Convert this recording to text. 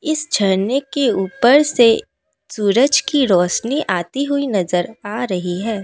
इस झरने के ऊपर से सूरज की रोशनी आती हुई नजर आ रही है।